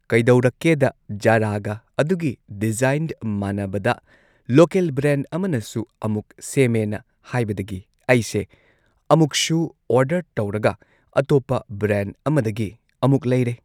ꯀꯩꯗꯧꯔꯛꯀꯦꯗ ꯖꯥꯔꯥꯒ ꯑꯗꯨꯒꯤ ꯗꯤꯖꯥꯏꯟ ꯃꯥꯟꯅꯕꯗ ꯂꯣꯀꯦꯜ ꯕ꯭ꯔꯥꯟ ꯑꯃꯅꯁꯨ ꯑꯃꯨꯛ ꯁꯦꯝꯃꯦꯅ ꯍꯥꯏꯕꯗꯒꯤ ꯑꯩꯁꯦ ꯑꯃꯨꯛꯁꯨ ꯑꯣꯔꯗꯔ ꯇꯧꯔꯒ ꯑꯇꯣꯞꯄ ꯕ꯭ꯔꯦꯟꯗ ꯑꯃꯗꯒꯤ ꯑꯃꯨꯛ ꯂꯩꯔꯦ꯫